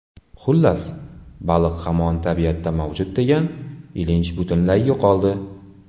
Xullas, baliq hamon tabiatda mavjud degan ilinj butunlay yo‘qoldi.